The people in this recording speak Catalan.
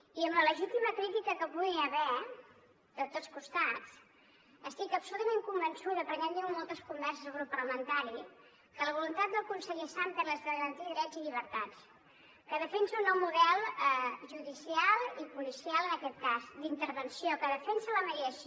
i amb la legítima crítica que hi pugui haver de tots costats estic absolutament convençuda perquè n’hem tingut moltes converses al grup parlamentari que la voluntat del conseller sàmper és la de garantir drets i llibertats que defensa un nou model judicial i policial en aquest cas d’intervenció que defensa la mediació